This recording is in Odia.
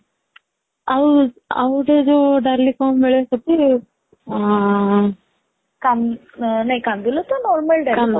ଆଉ ଆଉ ଗୋଟେ ଯୋଉ ଡାଲି କଣ ମିଳେ ସେଠି କାନ୍ଦ ନାଇଁ କାନ୍ଦୁଲ ତ normal ଡାଲି